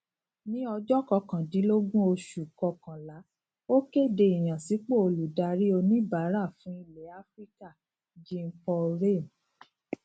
ní ọjọ kọkàndínlógún oṣù kọkànlá ó kéde ìyànsípò olùdarí oníbàárà fún ilẹ áfíríkà jeanpaul ramé